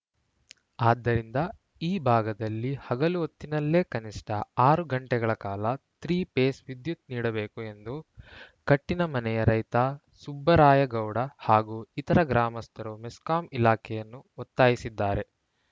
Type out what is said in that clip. ಆದ್ದರಿಂದ ಈ ಭಾಗದಲ್ಲಿ ಹಗಲು ಹೊತ್ತಿನಲ್ಲೇ ಕನಿಷ್ಠ ಆರು ಗಂಟೆಗಳ ಕಾಲ ತ್ರೀಪೇಸ್‌ ವಿದ್ಯುತ್‌ ನೀಡಬೇಕು ಎಂದು ಕಟ್ಟಿನಮನೆಯ ರೈತ ಸುಬ್ಬರಾಯಗೌಡ ಹಾಗೂ ಇತರ ಗ್ರಾಮಸ್ಥರು ಮೆಸ್ಕಾಂ ಇಲಾಖೆಯನ್ನು ಒತ್ತಾಯಿಸಿದ್ದಾರೆ